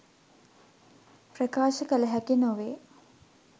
ප්‍රකාශ කල හැකි නොවේ.